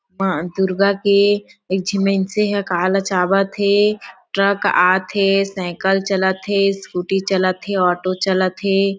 माँ दुर्गा के एक झी मइनसे ह काला चाबत थे ट्रक आत हे सायकल चलत हे स्कूटी चलत हे ऑटो चलत हे।